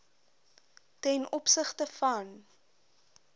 ten opsigte van